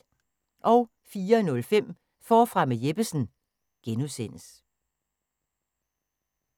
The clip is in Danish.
04:05: Forfra med Jeppesen (G)